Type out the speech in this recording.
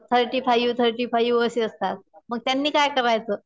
Thirty five, thirty five असे असतात. मग त्यांनी काय करायचं.